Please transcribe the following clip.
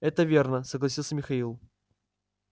это верно согласился михаил